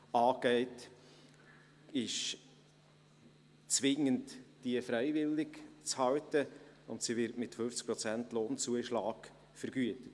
Diese ist zwingend freiwillig zu halten, und sie wird mit 50 Prozent Lohnzuschlag vergütet.